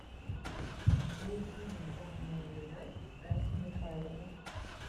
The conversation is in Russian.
включи нежданная любовь стаса михайлова